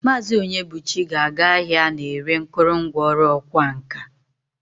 Maazi Onyebuchi ga-aga ahia ana-ere nkurungwa oru okwa nka.